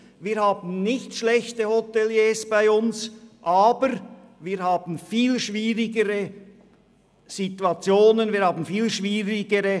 Wir haben nicht schlechtere Hoteliers bei uns, aber wir haben viel schwierigere Rahmenbedingungen.